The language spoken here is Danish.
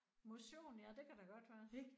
Motion? Ja det kan da godt være